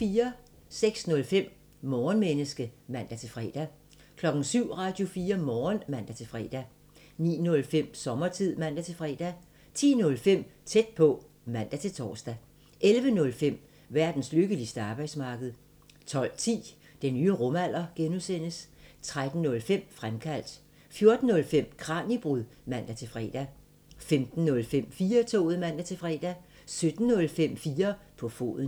06:05: Morgenmenneske (man-fre) 07:00: Radio4 Morgen (man-fre) 09:05: Sommertid (man-fre) 10:05: Tæt på (man-tor) 11:05: Verdens lykkeligste arbejdsmarked 12:10: Den nye rumalder (G) 13:05: Fremkaldt 14:05: Kraniebrud (man-fre) 15:05: 4-toget (man-fre) 17:05: 4 på foden